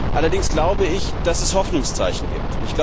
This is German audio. Allerdings glaube ich, dass es Hoffnungszeichen gibt.